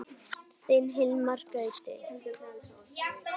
Þinn Hilmar Gauti.